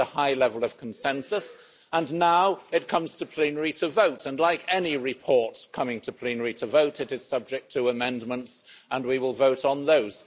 It had a high level of consensus, and now it comes to plenary to be voted on and, like any report coming to plenary for vote, it is subject to amendments, and we will vote on those.